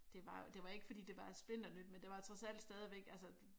Det var jo det var ikke fordi det var splinternyt men det var trods alt stadigvæk altså